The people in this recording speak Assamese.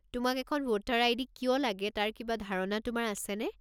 তোমাক এখন ভোটাৰ আই.ডি. কিয় লাগে তাৰ কিবা ধাৰণা তোমাৰ আছেনে?